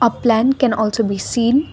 a plant can also be seen.